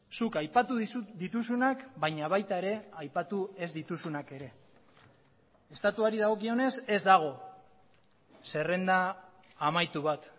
zuk aipatu dituzunak baina baita ere aipatu ez dituzunak ere estatuari dagokionez ez dago zerrenda amaitu bat